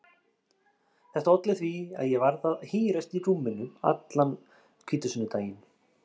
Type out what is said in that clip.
Þetta olli því að ég varð að hírast í rúminu allan hvítasunnudaginn.